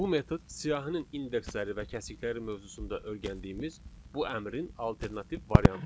Bu metod siyahının indeksləri və kəsikləri mövzusunda öyrəndiyimiz bu əmrin alternativ variantıdır.